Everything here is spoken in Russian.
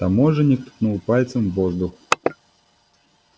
таможенник ткнул пальцем в воздух